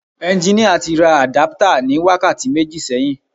Ẹnginíà tí ra àdáptà ní wákàtí méjì sẹ́yìn